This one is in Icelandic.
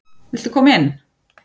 Viltu koma inn?